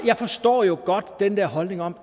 jeg forstår jo godt den der holdning om